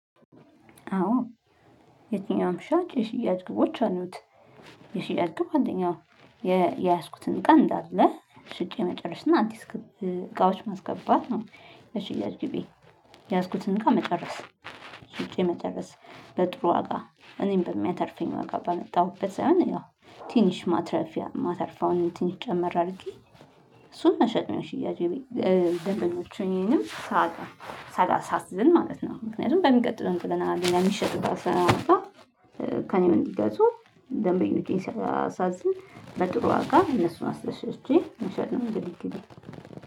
አዎ የትኛውም ሻጭ የሽያጭ ግቦች አሉት የሽያጭ ግብ አንደኛው የ የያዝኩትን እቃ እንዳለ ሽጬ መጨረስ እና አዲስ እቃዎች ማስገባት ነው። በሽያጭ ግቤ ያዝኩትን እቃ መጨረስ ሽጬ መጨረስ በጥሩ ዋጋ እኔን በሚያተርፈኝ ዋጋ ባመጣሁበት ሳይሆን ያው ትንሽ ማትረፊያ ማተርፍ አሁን ትንሽ ጨመር አድርጌ እሱን መሸጥ ነው የሽያጭ ግቤ። እ ሽያጭ ደንበኞቼንም ሳጣ ሳላ ሳላዛዝን ማለት ነው። ምክንያቱም በሚቀጥለው እቃ ሚሸጥ እቃ ሳመጣ ከእኔ እንዲገዙ ደንበኞቼን ሳላሳዝን በጥሩ ዋጋ እነሱን አስደስቼ መጨጥ ነው እንግዲህ ግቤ